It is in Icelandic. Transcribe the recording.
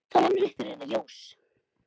Þá rennur upp fyrir henni ljós.